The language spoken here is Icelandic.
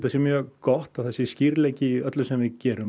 sé mjög gott að það sé skýrleiki í öllu sem við gerum